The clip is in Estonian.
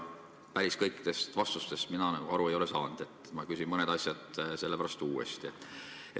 Päris kõikidest vastustest ma aru ei saanud, nii et küsin mõned asjad uuesti.